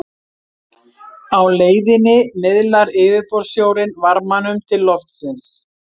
á leiðinni miðlar yfirborðssjórinn varmanum til loftsins